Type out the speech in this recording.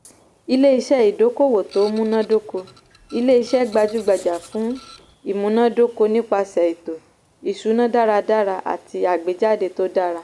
ilé-iṣẹ́ ìdókòwò tó múnádóko - ilé-iṣẹ́ gbajúgbajà fún ìmúnádóko nípasẹ̀ ètò-ìṣúná dáradára àti àgbéjáde tó dára.